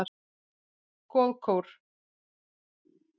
Goðakór